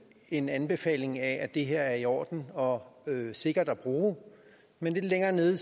en anbefaling af at det her er i orden og sikkert at bruge men lidt længere nede